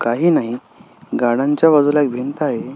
काही नाही गार्डन च्या बाजूला एक भिंत आहे.